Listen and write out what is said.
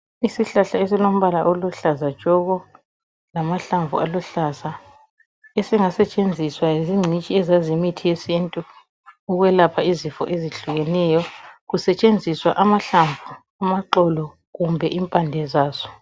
Isihlahla esilombala oluhlaza tshoko lamahlamvu aluhlaza, esingasetshenziswa zingcitshi ezazi imithi yesintu ukwelapha izifo ezihlukeneyo. Kusetshenziswa amahlamvu, amaxolo kumbe impande zazo.